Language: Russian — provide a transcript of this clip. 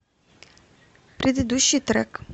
предыдущий трек